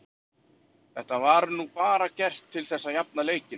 Þetta var nú bara gert til þess að jafna leikinn.